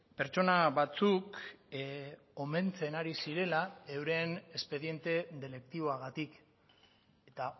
pertsona batzuk omentzen ari zirela euren espediente deliktiboagatik eta